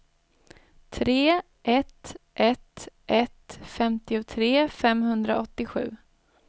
tre ett ett ett femtiotre femhundraåttiosju